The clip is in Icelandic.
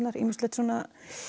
ýmislegt svona